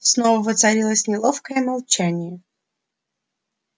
снова воцарилось неловкое молчание